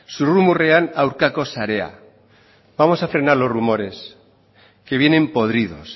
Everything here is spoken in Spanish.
zurrumurruen aurkako sarea vamos a frenar los rumores que vienen podridos